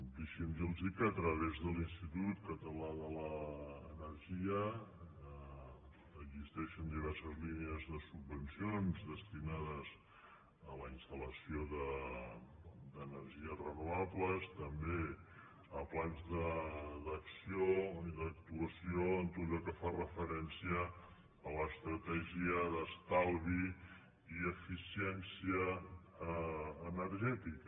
dei·xi’m dir·los que a través de l’institut català d’energia existeixen diverses línies de subvencions destinades a la instal·lació d’energies renovables també a plans d’acció i d’actuació en tot allò que fa referència a l’estratè·gia d’estalvi i eficiència energètica